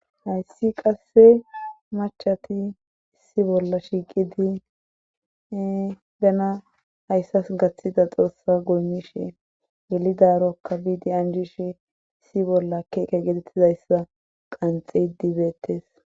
hayssi qasse machati issi bolla shiiqidi bena hayssas gaththida xoossa goymishe gelidarokka biidi anjishe issi bolla keke getettizayssa qanxe dibeettes